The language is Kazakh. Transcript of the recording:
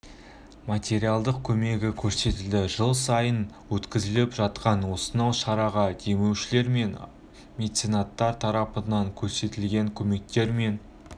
материалдық көмегі көрсетілді жыл сайынғы өткізіліп жатқан осынау шараға демеушілер мен меценаттар тарапынан көрсетілгенкөмектер мен